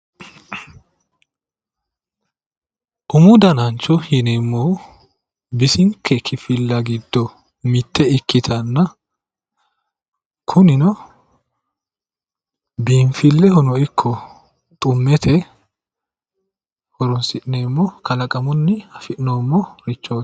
Umu danancho yineemmohu bisinke kifilla giddo mitto ikkitanna, kunino biinfillehono Ikko xummete horon'sineemo kalaqamunni afi'neemmorichooti.